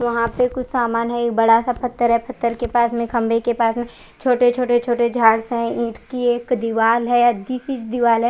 वहां पर कुछ सामन है बड़ा सा पत्थर है पत्थर के पास में खम्बे के पास में छोटे छोटे छोटे झाड्स है इट की एक दीवाल है डी बिच दीवाल है।